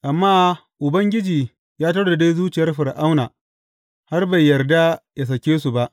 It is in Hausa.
Amma Ubangiji ya taurare zuciyar Fir’auna, har bai yarda yă sake su ba.